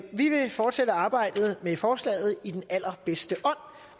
vi vil fortsætte arbejdet med forslaget i den allerbedste ånd